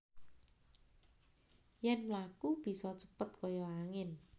Yen mlaku bisa cepet kaya angin